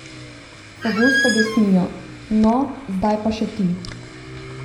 Pogosto besnijo: "No, zdaj pa še ti.